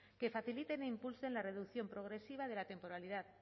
que faciliten e impulsen la reducción progresiva de la temporalidad